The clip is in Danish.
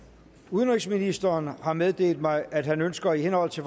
udenrigsministeren har meddelt mig at han ønsker i henhold til